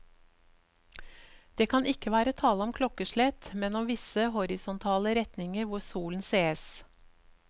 Det kan ikke være tale om klokkeslett, men om visse horisontale retninger hvor solen sees.